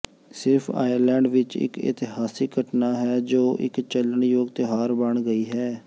ਸਿਰਫ ਆਇਰਲੈਂਡ ਵਿਚ ਇਕ ਇਤਿਹਾਸਕ ਘਟਨਾ ਹੈ ਜੋ ਇਕ ਚੱਲਣਯੋਗ ਤਿਉਹਾਰ ਬਣ ਗਈ ਹੈ